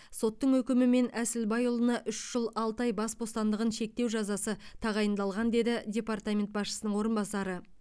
соттың үкімімен әсілбайұлына үш жыл алты ай бас бостандығын шектеу жазасы тағайындалған деді департамент басшысының орынбасары